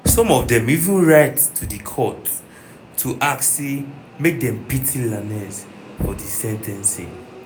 some of dem even write to di court to ask say make dem pity lanez for di sen ten cing.